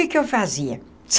Que que eu fazia?